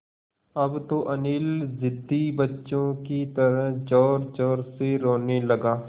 अब तो अनिल ज़िद्दी बच्चों की तरह ज़ोरज़ोर से रोने लगा